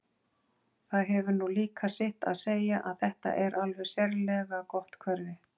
Það hefur nú líka sitt að segja að þetta er alveg sérlega gott hverfi.